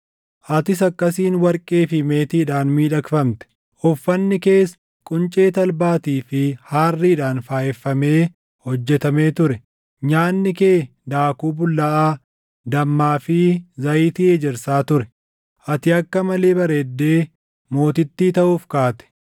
Atis akkasiin warqee fi meetiidhaan miidhagfamte; uffanni kees quncee talbaatii fi haarriidhaan faayeffamee hojjetamee ture; nyaanni kee daakuu bullaaʼaa, dammaa fi zayitii ejersaa ture. Ati akka malee bareeddee mootittii taʼuuf kaate.